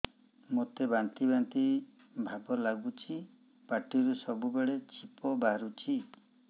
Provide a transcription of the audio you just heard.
ମୋତେ ବାନ୍ତି ବାନ୍ତି ଭାବ ଲାଗୁଚି ପାଟିରୁ ସବୁ ବେଳେ ଛିପ ବାହାରୁଛି